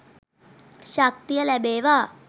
ශක්තිය ලැබේවා.